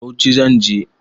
Bauchi zan je.